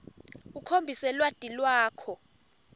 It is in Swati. ukhombise lwati lwakho